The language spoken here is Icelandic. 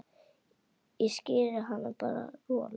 Ég skíri hann bara Rolu.